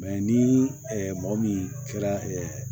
ni mɔgɔ min kɛra